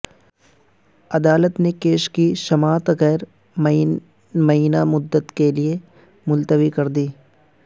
عدالت نے کیس کی سماعت غیر معینہ مدت کے لیے ملتوی کر دی